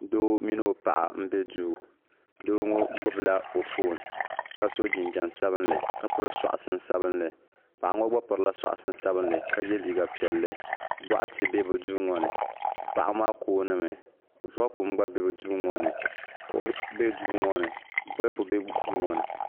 Doo mini o paɣa m be duu doo ŋɔ gbibila o fooni ka so jinjiɛm sabinli ka piri soksi sabinli paɣa ŋɔ gba pirila soksi sabinli ka ye liiga piɛlli boɣati be bɛ duu ŋɔ ni paɣa maa kooni mi vakum gba be bɛ duu ŋɔ ni kuɣu be duu ŋɔ ni bolipu be duu ŋɔ ni.